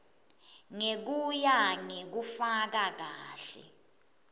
ngekuya ngekufaka kahle